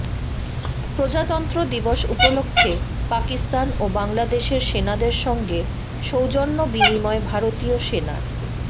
প্রজাতন্ত্র দিবস উপলক্ষে পাকিস্তান ও বাংলাদেশের সেনাদের সঙ্গে সৌজন্য বিনিময় ভারতীয় সেনার